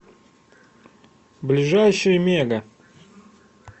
ближайший мега